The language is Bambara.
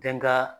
Kɛ n ka